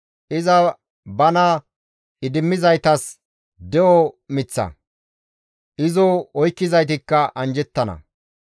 Iza bana idimmizaytas de7o miththa; izo oykkizaytikka anjjettana.